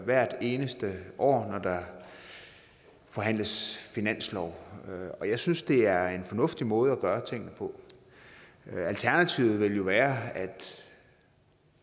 hvert eneste år når der forhandles finanslov jeg synes det er en fornuftig måde at gøre tingene på alternativet ville jo være at